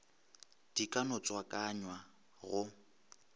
di ka no tswakanywa go